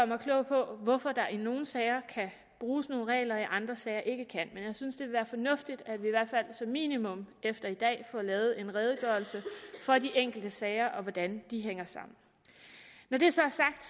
mig klog på hvorfor der i nogle sager kan bruges nogle regler i andre sager ikke kan men jeg synes det vil være fornuftigt at vi i hvert fald som minimum efter i dag får lavet en redegørelse for de enkelte sager og for hvordan de hænger sammen når det så er sagt